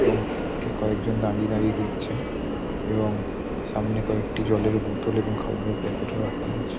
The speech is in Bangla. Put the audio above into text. এবং ঠিক কয়েকজন দাঁড়িয়ে দাঁড়িয়ে দেখছেন এবং সামনে কয়েকটি জলের বোতল ও খাবারের প্যাকেট রাখা রয়েছে।